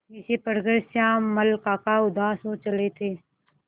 जिसे पढ़कर श्यामल काका उदास हो चले थे